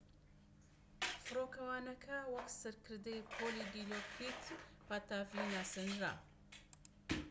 فڕۆکەوانەکە وەک سەرکردەی پۆلی دیلۆکریت پاتاڤی ناسێنرا